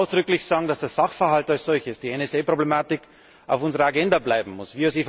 Ich möchte aber ausdrücklich sagen, dass der Sachverhalt als solches die NSA Problematik auf unserer Agenda bleiben muss.